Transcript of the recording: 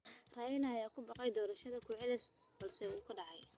Raila ayaa ku baaqay doorasho ku celis ah balse wuu qaadacay.